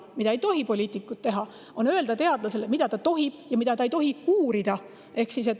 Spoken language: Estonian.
Küll aga ei tohi poliitikud teadlasele öelda, mida ta tohib ja mida ta ei tohi uurida.